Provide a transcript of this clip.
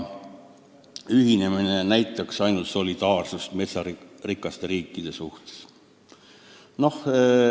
Ühinemine näitaks ainult solidaarsust metsarikaste riikidega.